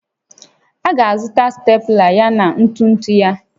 A ga-azụta Stepụla yana ntụtụ ya